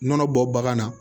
Nɔnɔ bɔ bagan na